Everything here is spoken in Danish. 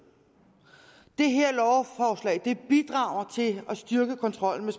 det her lovforslag bidrager til at styrke kontrollen med